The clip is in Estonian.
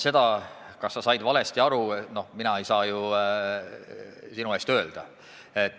Seda, kas sa said valesti aru, mina ei saa ju sinu eest öelda.